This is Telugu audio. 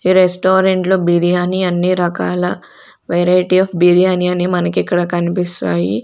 ఈ రెస్టారెంట్ లో బిర్యానీ అన్ని రకాల వెరైటీ ఆఫ్ బిర్యానీ అని మనకి ఇక్కడ కనిపిస్తాయి.